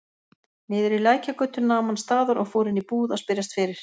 Niðri í Lækjargötu nam hann staðar og fór inn í búð að spyrjast fyrir.